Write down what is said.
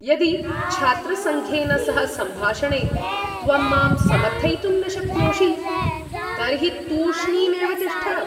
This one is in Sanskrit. यदि छात्रसङ्घेन सह सम्भाषणे त्वं मां समर्थयितुं न शक्नोषि तर्हि तूष्णीं एव तिष्ठ।